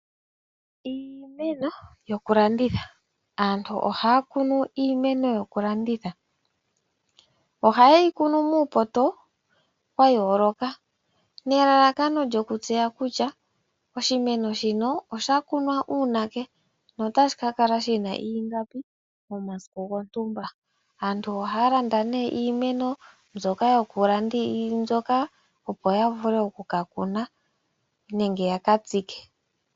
Iimeno yoku landitha aantu ohaa kunu iimeno yokulanditha, ohayeyi kunu muupoto wayooloka nelalakano lyokutseya kutya oshimeno shino osha kunwa uunake notashi kakala shina ingapi momasiku gotumba. Aantu ohaa landa nee iimeno mbyoka yoku landwa opo yavule okuka kuna nenge yaka tsike.